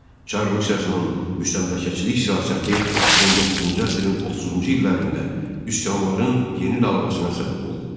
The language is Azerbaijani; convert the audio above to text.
Çar Rusiyasının müstəmləkəçilik siyasəti 19-cu əsrin 30-cu illərində üsyanların yeni dalğasına səbəb oldu.